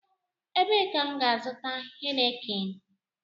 Ebee ka m gá-azuta Heineken?